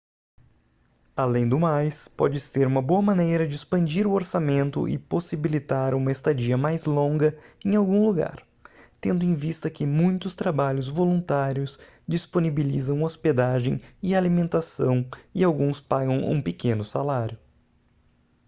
além do mais pode ser uma boa maneira de expandir o orçamento e possibilitar uma estadia mais longa em algum lugar tendo em vista que muitos trabalhos voluntários disponibilizam hospedagem e alimentação e alguns pagam um pequeno salário